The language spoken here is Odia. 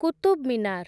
କୁତୁବ୍ ମିନାର୍